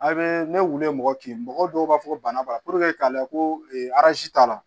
A' bee ne wili mɔgɔ kin mɔgɔw b'a fɔ ko bana b'a puruke k'a layɛ ko aransi t'a la